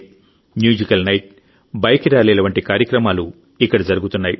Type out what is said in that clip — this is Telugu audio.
మ్యూజికల్ నైట్ బైక్ ర్యాలీల వంటి కార్యక్రమాలు ఇక్కడ జరుగుతున్నాయి